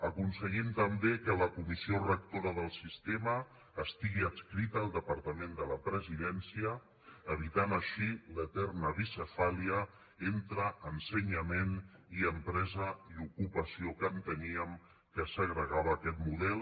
aconseguim també que la comissió rectora del sistema estigui adscrita al departament de la presidència evitant així l’eterna bicefàlia entre ensenyament i empresa i ocupació que enteníem que segregava aquest model